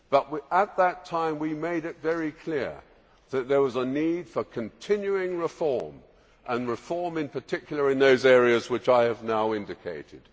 But at that time we made it very clear that there was a need for continuing reform and, in particular, reform in those areas which I have now indicated.